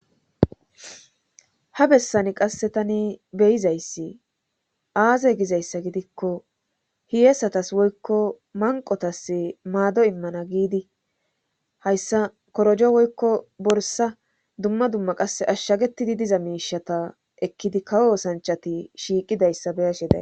Ha bessani qasse tani beyizayssi aaze gizayssa gidikko hiyesatas woykko manqotas maado immana giidi hayssa korojo woykko borsa dumma dumma qasse ashshagetidi diza miishata ekkidi kawo sanchati shiiqidayssa beyashe da.